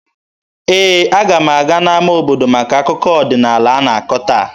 Ee, aga m aga n'ama obodo maka akụkọ ọdịnaala a na-akọ taa.